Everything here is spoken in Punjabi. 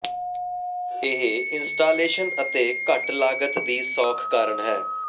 ਇਹ ਇੰਸਟਾਲੇਸ਼ਨ ਅਤੇ ਘੱਟ ਲਾਗਤ ਦੀ ਸੌਖ ਕਾਰਨ ਹੈ